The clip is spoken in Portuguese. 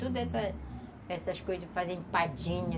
Tudo essas essas coisas fazia empadinha